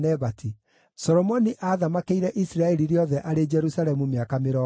Solomoni aathamakĩire Isiraeli rĩothe arĩ Jerusalemu mĩaka mĩrongo ĩna.